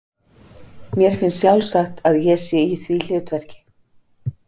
Mér finnst sjálfsagt að ég sé í því hlutverki.